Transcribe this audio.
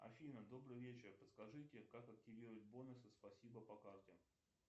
афина добрый вечер подскажите как активировать бонусы спасибо по карте